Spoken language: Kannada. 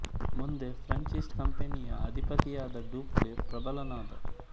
ಮುಂದೆ ಫ್ರೆಂಚ್ ಈಸ್ಟ್ ಇಂಡಿಯ ಕಂಪನಿಯ ಅಧಿಪತಿಯಾದ ಡೂಪ್ಲೆ ಪ್ರಬಲನಾದ